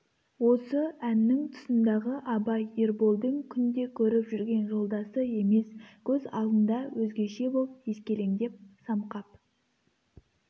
осы әннің тұсындағы абай ерболдың күнде көріп жүрген жолдасы емес көз алдында өзгеше боп ескелеңдеп самқап